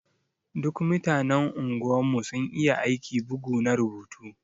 Duk mutanen unguwan mu sun iya aiki bugu na rubutu.